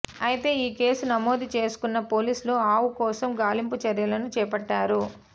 అయితే ఈ కేసు నమోదు చేసుకొన్న పోలీసులు ఆవు కోసం గాలింపు చర్యలను చేపట్టారు